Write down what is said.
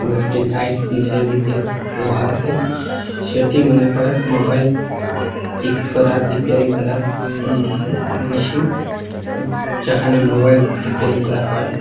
কয়েকটি লাইট নীচের দিকে দেওয়া আসে সেটি মনে হয় মোবাইল ঠিক করার রিপেয়ারিং করার মে মেশিন যেখানে মোবাইল রিপেয়ারিং করা হয়।